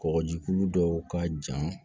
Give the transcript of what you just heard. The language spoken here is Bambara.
Kɔgɔjiku dɔw ka jan